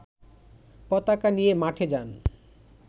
পতাকা নিয়ে মাঠে যান